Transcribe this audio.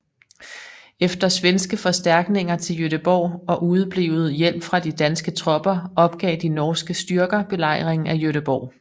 Efter svenske forstærkninger til Göteborg og udeblevet hjælp fra de danske tropper opgav de norske styrker belejringen af Göteborg